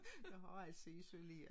Jeg har altså isoleret